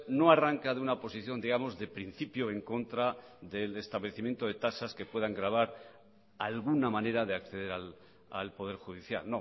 no arrancade una posición digamos de principio en contra del establecimiento de tasas que puedan gravar de alguna manera de acceder al poder judicial